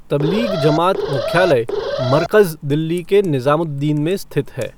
तब्लीग जमात मुख्यालय मरकज़ दिल्ली के निज़ामुद्दीन में स्थित है।